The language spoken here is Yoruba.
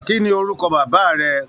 Kí ni orúkọ bàbá rẹ?